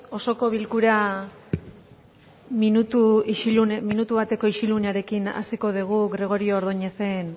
osoko bilkura minutu bateko isilunearekin hasiko dugu gregorio ordóñezen